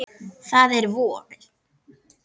Það er voði